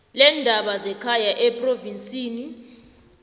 leendaba zekhaya ephrovinsini